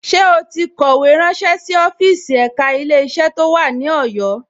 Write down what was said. Ṣé ó ti kọ̀wé ránṣé sí ọ́fíìsì ẹ̀ka Ilé-iṣẹ́ tó wà ní Ọ̀yọ́